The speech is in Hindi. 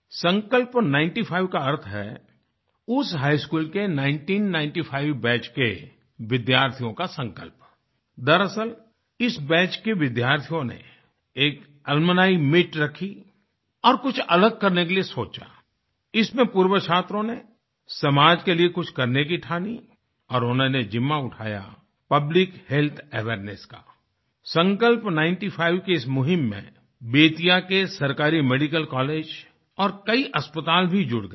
संकल्प नाइनटी फाइव का अर्थ है उस हिघ स्कूल के 1995 नाइनटीन नाइनटी फाइव बैच के विद्यार्थियों का संकल्प आई दरअसल इस बैच के विद्यार्थियों ने एक अलुम्नी मीत रखी और कुछ अलग करने के लिए सोचा Iइसमें पूर्वछात्रों ने समाज के लिए कुछ करने की ठानी और उन्होंने जिम्मा उठाया पब्लिक हेल्थ अवेयरनेस का आईसंकल्प नाइनटी फाइव की इस मुहिम में बेतिया के सरकारी मेडिकल कॉलेज और कई अस्पताल भी जुड़ गये